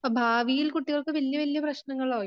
ഭാവിയിൽ കുട്ടികൾക്ക് വലിയ വലിയ പ്രശ്നങ്ങള